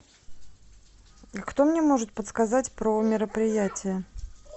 а кто мне может подсказать про мероприятия